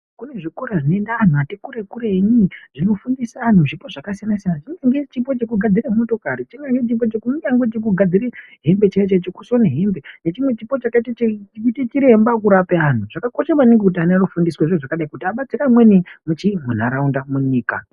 Kune zvikora zvinoenda antu atikure kure zvinofundise antu zvipo zvakasiyana-siyana. Chimweni chipo chekugadzire motokari, chimweni chipo kunyangwe chekugadzire hembe chaidzo chaidzo, chekusone hembe nechime chipo chakaite chiremba wekurape antu kuti adetsere amweni muntaraunda, munyika.